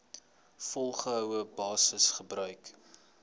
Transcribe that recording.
volgehoue basis gebruik